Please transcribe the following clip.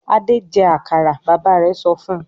"Adé jẹ àkàrà!" Bàbá rẹ̀ sọ fún un.